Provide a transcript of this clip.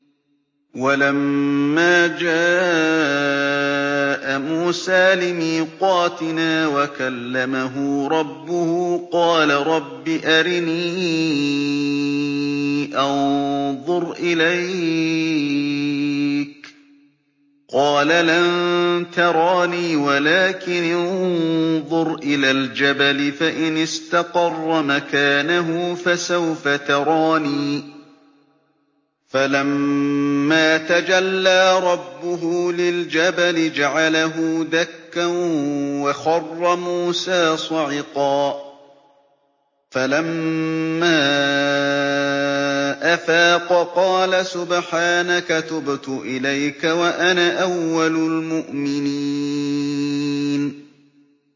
وَلَمَّا جَاءَ مُوسَىٰ لِمِيقَاتِنَا وَكَلَّمَهُ رَبُّهُ قَالَ رَبِّ أَرِنِي أَنظُرْ إِلَيْكَ ۚ قَالَ لَن تَرَانِي وَلَٰكِنِ انظُرْ إِلَى الْجَبَلِ فَإِنِ اسْتَقَرَّ مَكَانَهُ فَسَوْفَ تَرَانِي ۚ فَلَمَّا تَجَلَّىٰ رَبُّهُ لِلْجَبَلِ جَعَلَهُ دَكًّا وَخَرَّ مُوسَىٰ صَعِقًا ۚ فَلَمَّا أَفَاقَ قَالَ سُبْحَانَكَ تُبْتُ إِلَيْكَ وَأَنَا أَوَّلُ الْمُؤْمِنِينَ